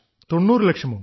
90 ലക്ഷമോ